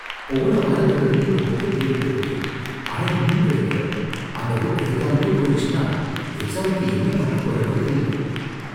போன வாரத்துல இருந்து இந்த புக்க தேடிட்டு இருக்கேன், ஆனா இன்னும் கிடைக்கல. அந்த புக் கிடைக்காமலே போயிடுச்சுனா எக்ஸாமுக்கு என்ன பண்ணப் போறேனோ தெரியல